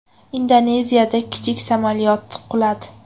Indoneziyada kichik samolyot quladi.